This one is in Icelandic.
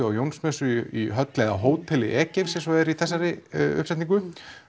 á Jónsmessu í höll eða hóteli Egeifs eins og það er í þessari uppsetningu